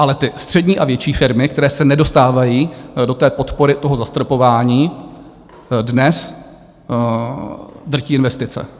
Ale ty střední a větší firmy, které se nedostávají do té podpory toho zastropování, dnes drtí investice.